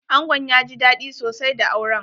Angon ya ji daɗi sosai da auren.